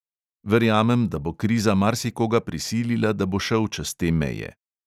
Verjamem, da bo kriza marsikoga prisilila, da bo šel čez te meje.